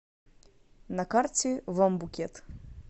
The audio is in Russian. на карте вам букет